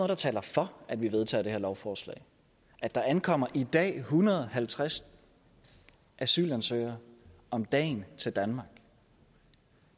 der taler for at vi vedtager det her lovforslag der ankommer i dag en hundrede og halvtreds asylansøgere om dagen til danmark